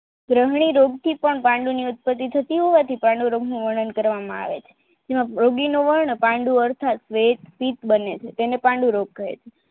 કૃમલી રોગ થી પણ પાંડુ ની ઉત્પત્તિ થતી હોવાથીં પાંડુ રોગ નું વર્ણન કરવામાં આવે છે જેમાં યોગીનો વર્ણ પાંડુ અર્થાત વેદથી જ બને છે તેને પાંડુરોગ કહે છે